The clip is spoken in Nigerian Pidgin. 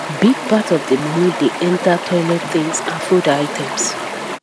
big part of the money dey enter toilet things and food items